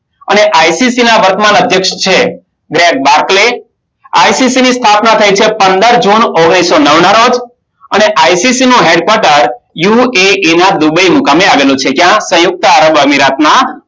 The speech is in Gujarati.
અને ICC ના વર્તમાન અધ્યક્ષ છે બ્રેક બારકલે. ICC ની સ્થાપના થઈ છે પંદર જૂન ઓગણીસો નવના રોજ અને ICC નું હેડ કોટર યુએઈ દુબઈના મુકામે આવેલું છે. ક્યાં? સંયુક્ત અમીરાતના